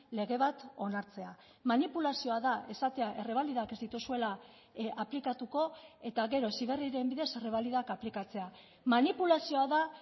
lege bat onartzea manipulazioa da esatea errebalidak ez dituzuela aplikatuko eta gero heziberriren bidez errebalidak aplikatzea manipulazioa da